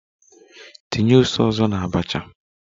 Tinye ose ọzọ na abacha!